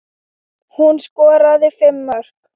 Hún skoraði fimm mörk.